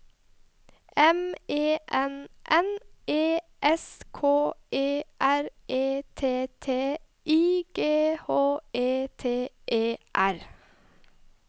M E N N E S K E R E T T I G H E T E R